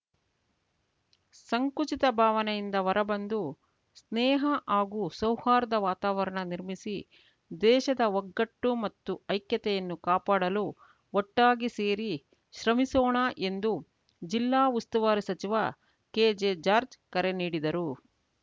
ಸಂಕುಚಿತ ಭಾವನೆಯಿಂದ ಹೊರಬಂದು ಸ್ನೇಹ ಹಾಗೂ ಸೌಹಾರ್ದ ವಾತಾವರಣ ನಿರ್ಮಿಸಿ ದೇಶದ ಒಗ್ಗಟ್ಟು ಮತ್ತು ಐಕ್ಯತೆಯನ್ನು ಕಾಪಾಡಲು ಒಟ್ಟಾಗಿ ಸೇರಿ ಶ್ರಮಿಸೋಣ ಎಂದು ಜಿಲ್ಲಾ ಉಸ್ತುವಾರಿ ಸಚಿವ ಕೆಜೆ ಜಾರ್ಜ್ ಕರೆ ನೀಡಿದರು